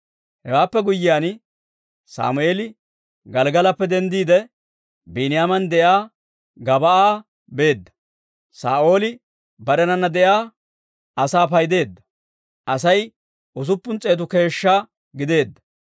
Hewaappe guyyiyaan, Sammeeli Gelggalappe denddiide, Biiniyaaman de'iyaa Gib'aa beedda. Saa'ooli barenana de'iyaa asaa paydeedda; Asay usuppun s'eetu keeshshaa gideedda.